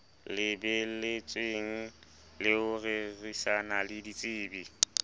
lebelletswe ho rerisana le ditsebi